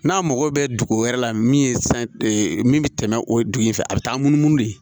N'a mago bɛ dugu wɛrɛ la min ye san min bɛ tɛmɛ o dugu in fɛ a bɛ taa munumunu de